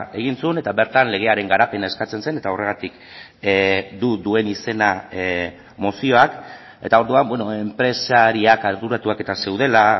egin zuen eta bertan legearen garapena eskatzen zen eta horregatik du duen izena mozioak eta orduan enpresariak arduratuak eta zeudela